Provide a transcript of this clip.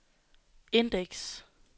indeks